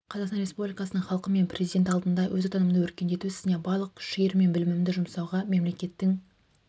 қазақстан республикасының халқы мен президенті алдында өз отанымды өркендету ісіне барлық күш-жігерім мен білімімді жұмсауға мемлекеттің